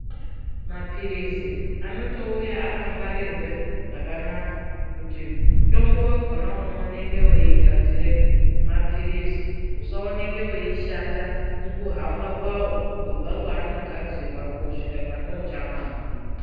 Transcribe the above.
Mapirizi anotouta akangwarirwe zvakanaka kuti mutombo wakhona unooneke weigadzire mapirizi usaoneke weishata mukuhamba kwawo kubva kwanogadzirwa kosvika pane uchamamwa.